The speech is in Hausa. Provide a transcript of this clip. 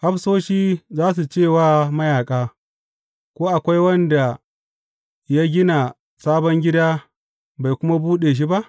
Hafsoshi za su ce wa mayaƙa, Ko akwai wanda ya gina sabon gida bai kuma buɗe shi ba?